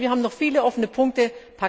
Also wir haben noch viele offene Punkte.